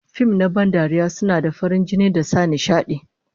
Fim na ban dariya suna da farin jini da sa nishadi